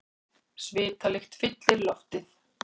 Svitalykt fyllir loftið.